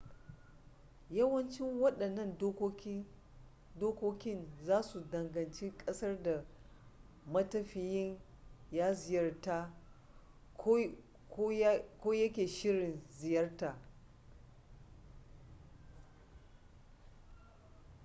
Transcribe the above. yawanci wadannan dokokin zasu danganci kasar da matafiyin ya ziyarta ko ya ke shirin ziyarta